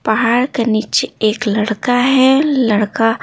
पहाड़ के नीचे एक लड़का है लड़का--